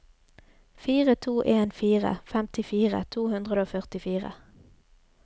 fire to en fire femtifire to hundre og førtifire